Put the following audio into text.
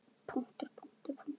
Hann hefur allt með sér.